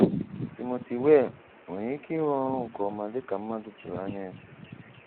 Timothy Weah nwere ike ịrụ ọrụ nke ọma dịka ndị mmadụ tụrụ anya ya?